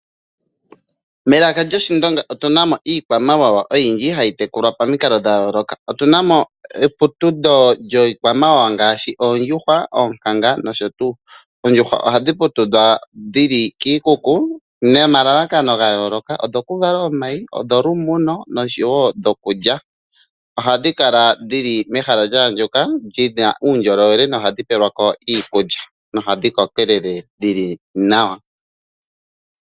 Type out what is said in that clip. Melaka lyoshiwambo otuna mo iikwamawawa oyindji hayi tekulwa momikalo dha yooloka. otuna mo eputudho lyiikwamawawa ngaashi oondjuhwa, oonkanga nosho tuu. Ondjuhwa ohadhi putudhwa dhili kiikuku nomalalakano gayooloka, odho ku vala omayi, osholumu no nosho woo dhokuliwa. Ohadhi kala dhili mehala lyaandjuka lyayela nawa nohadhi pewe lwako iikulya opo dhi koke nawa dhili nawa.